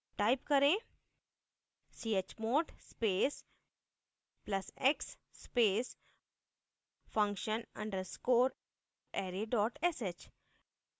type करें chmod space plus x space function underscore array dot sh